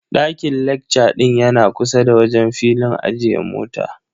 Daiƙn lecca ɗin yana kusa da wajen filin ajiye mota.